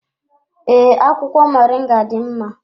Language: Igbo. Ee, akwụkwọ moringa dị mma.